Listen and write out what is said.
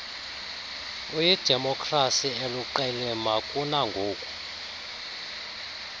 uyidemokrasi eluqilima kuangoku